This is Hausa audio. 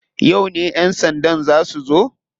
Yauce ya sanda za su zo?